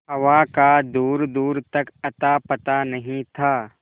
हवा का दूरदूर तक अतापता नहीं था